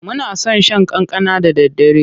Muna son shan kankana da daddare.